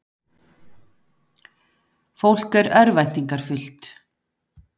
Fólk er örvæntingarfullt